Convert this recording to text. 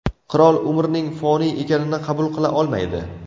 Qirol umrning foniy ekanini qabul qila olmaydi.